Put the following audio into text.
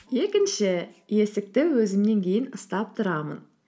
екінші есікті өзімнен кейін ұстап тұрамын